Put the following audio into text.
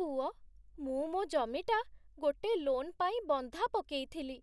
ପୁଅ, ମୁଁ ମୋ' ଜମିଟା ଗୋଟେ ଲୋନ୍ ପାଇଁ ବନ୍ଧା ପକେଇଥିଲି,